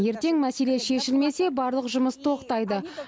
ертең мәселе шешілмесе барлық жұмыс тоқтайды